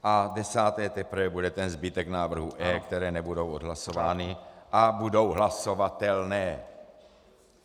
A desáté teprve bude ten zbytek návrhů E, které nebudou odhlasovány a budou hlasovatelné.